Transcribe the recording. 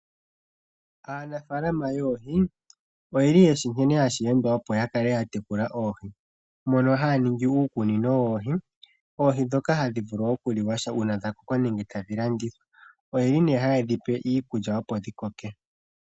Aanafaalama yoohi oyeli yeshi nkene hashi endwa opo yakale yatekula oohi, mono haya ningi iikunino yoohi. Oohi ndhoka hadhi vulu okuliwa uuna dhakoko etadhi landithwa. Oyeli hayedhi pe iikulya opo dhikoke.